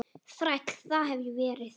Þræll, það hef ég verið.